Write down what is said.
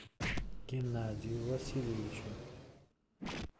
геннадию васильевичу